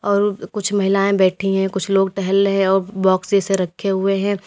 और कुछ महिलाएं बैठी हैं कुछ लोग टहल रहे हैं और बॉक्स जैसे रखे हुए हैं।